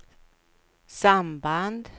samband